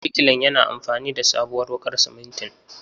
Birkilan yana amfani da sabuwar wuƙar simintin.